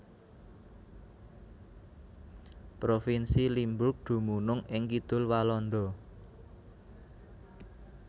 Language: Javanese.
Provinsi Limburg dumunung ing kidul Walanda